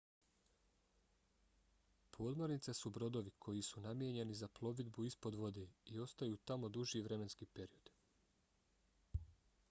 podmornice su brodovi koji su namijenjeni za plovidbu ispod vode i ostaju tamo duži vremenski period